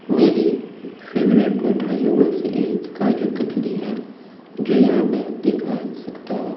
मेरी फेवरेट मिठाइयों में से एक काजू कतली है जो यहाँ मैं दिखा सकता हूँ।